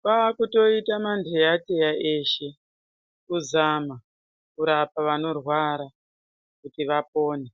kwakutoita manheyateya eshe, kuzama kurapa vanorwara kuti vapone.